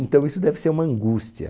Então isso deve ser uma angústia.